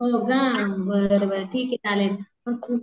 हो का? बरं बरं ठीके चालेल